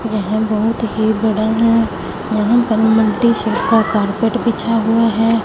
यहां बहुत ही बड़ा है यहां पर मल्टी शेड का कारपेट बिछा हुआ है।